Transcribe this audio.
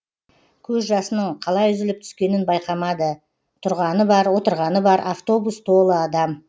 көз жасының қалай үзіліп түскенін байқамады тұрғаны бар отырғаны бар автобус толы адам